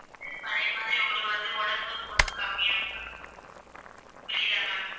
பழைய மாதிரி உங்களுக்கு வந்து உடம்பு வந்து கம்மியாகும் ma'am. புரியுதா ma'am?